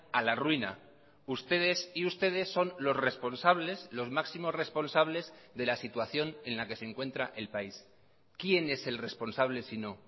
a la ruina ustedes y ustedes son los responsables los máximos responsables de la situación en la que se encuentra el país quién es el responsable si no